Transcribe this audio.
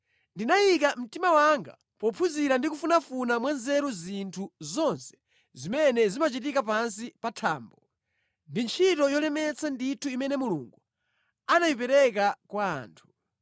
Ndinayika mtima wanga pophunzira ndi kufunafuna mwa nzeru zinthu zonse zimene zimachitika pansi pa thambo. Ndi ntchito yolemetsa ndithu imene Mulungu anayipereka kwa anthu!